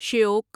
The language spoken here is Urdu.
شیوک